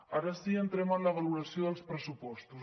ara sí entrem en la valoració dels pressupostos